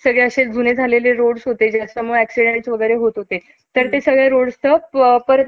इतकी पायपीट करून यशाची आशा मिळवली अं होती. पण एक अंधुक दिवा लुकलुकला. मुरुड अं मुरुडचाच एका,